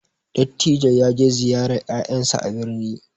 Dattijo ya je ziyarar ƴaƴan sa a birni